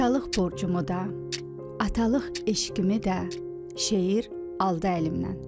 Atalıq borcumu da, atalıq eşqimi də şeir aldı əlimdən.